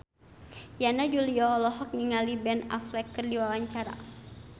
Yana Julio olohok ningali Ben Affleck keur diwawancara